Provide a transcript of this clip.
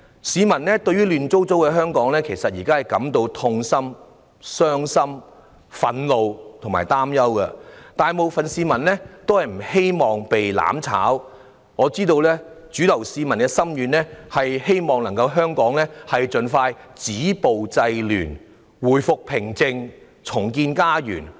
市民對於現時香港亂七八糟的情況感到痛心、傷心、憤怒及擔憂，大部分市民不希望被"攬炒"，我知道市民的主流心願是香港能盡快止暴制亂，回復平靜，重建家園。